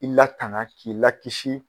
I latanga k'i lakisi.